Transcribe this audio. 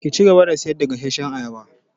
Ki cigaba da sayar da gasashshan ayaba!